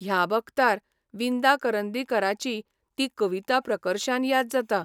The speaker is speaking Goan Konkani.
ह्या बगतार विंदा करंदीकराची ती कविता प्रकर्षान याद जाता